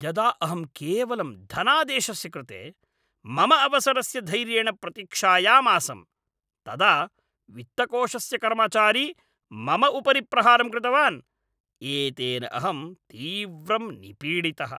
यदा अहं केवलं धनादेशस्य कृते मम अवसरस्य धैर्येण प्रतीक्षायामासम् तदा वित्तकोषस्य कर्मचारी मम उपरि प्रहारं कृतवान् । एतेन अहं तीव्रं निपीडितः ।